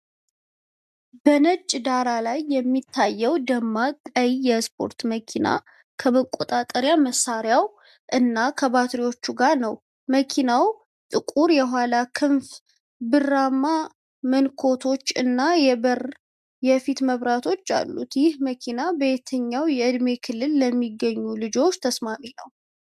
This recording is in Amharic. በነጭ ዳራ ላይ የሚታየው ደማቅ ቀይ የስፖርት መኪና ከመቆጣጠሪያ መሳሪያው እና ከባትሪዎቹ ጋር ነው። መኪናው ጥቁር የኋላ ክንፍ፣ ብርማ መንኮራኩሮች እና የበራ የፊት መብራቶች አሉት። ይህ መኪና በየትኛው የዕድሜ ክልል ለሚገኙ ልጆች ተስማሚ ነው?